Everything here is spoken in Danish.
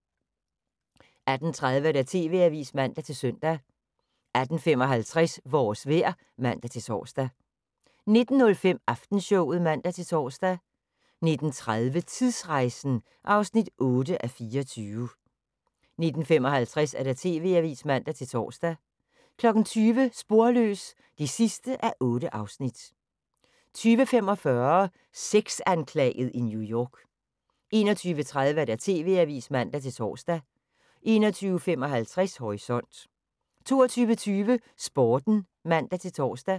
18:30: TV-avisen (man-søn) 18:55: Vores vejr (man-tor) 19:05: Aftenshowet (man-tor) 19:30: Tidsrejsen (8:24) 19:55: TV-avisen (man-tor) 20:00: Sporløs (8:8) 20:45: Sexanklaget i New York 21:30: TV-avisen (man-tor) 21:55: Horisont 22:20: Sporten (man-tor)